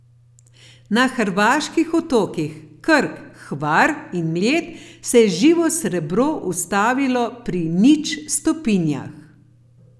Na hrvaških otokih Krk, Hvar in Mljet se je živo srebro ustavilo pri nič stopinjah.